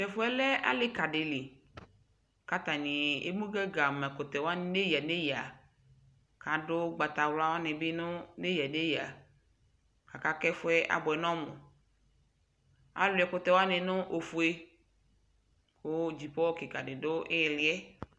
tɛƒʋɛ lɛ alika dili kʋ atani amʋ gaga ma ɛkʋtɛ wani nʋ ɛya nʋ ɛya kʋ adʋ ɔgbatawla wanibi nʋ ɛya nʋ ɛya, aka kʋ ɛƒʋɛ abʋɛ nʋ ɔmʋ, alʋɛ ɛkʋtɛ wani nʋ ɔƒʋɛ kʋ gyipɔ kikaa di dʋ iliɛ